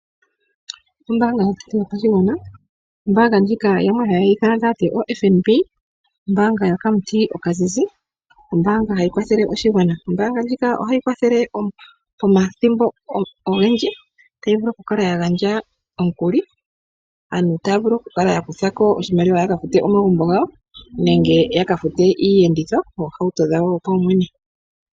Ombaanga yotango yopashigwana. Ombaanga ndjika yamwe haye yi ithana taya ti oFNB, ombaanga yokamuti okazizi. Ombaanga hayi kwathele oshigwana, ombaanga ndjika ohayi kwathele omathimbo ogendji. Tayi vulu okukala ya gandja omukuli, aanru taya vulu okukala ya kutha ko oshimaliwa ya ka fute omagumbo gawo nenge ya ka fute iiyenditho, oohauto dhawo dhopaumwene.